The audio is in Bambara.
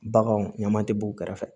Baganw ɲaman tɛ b'u kɛrɛfɛ